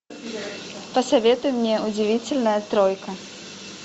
посоветуй мне удивительная тройка